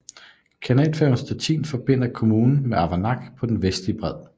Kanalfærgen Stettin forbinder kommunen med Averlak på den vestlige bred